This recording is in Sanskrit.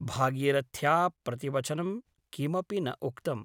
भागीरथ्या प्रतिवचनं किमपि न उक्तम् ।